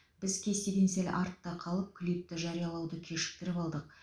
біз кестеден сәл артта қалып клипті жариялауды кешіктіріп алдық